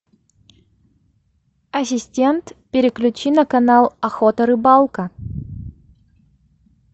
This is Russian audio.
ассистент переключи на канал охота рыбалка